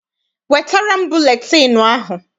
Wetara m buletịịnụ ahụ!